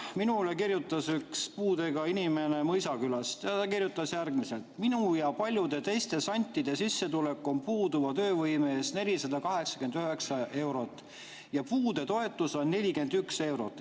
Minule kirjutas üks puudega inimene Mõisakülast ja ta kirjutas järgmiselt: "Minu ja paljude teiste santide sissetulek on puuduva töövõime eest 489 eurot ja puudetoetus on 41 eurot.